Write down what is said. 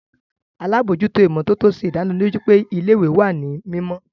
Alabojuto imototo ṣe idaniloju pe ile-iwe wa ni mimọ.